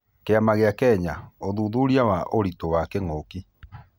Kĩama gĩa Kenya, ũthuthuria wa ũritũ wa kĩng'ũki.